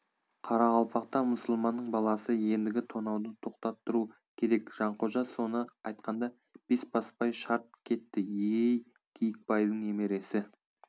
қарақалпақта мұсылманның баласы ендігі тонауды тоқтаттыру керек жанқожа соны айтқанда бесбасбай шарт кетті ей киікбайдың немересі